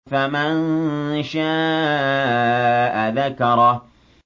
فَمَن شَاءَ ذَكَرَهُ